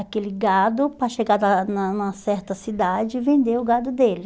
Aquele gado para chegar lá na numa certa cidade e vender o gado dele.